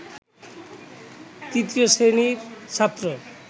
তৃতীয় শ্রেণির ছাত্র